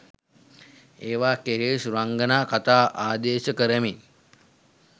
ඒවා කෙරෙහි සුරංගනා කථා ආදේශ කරමින්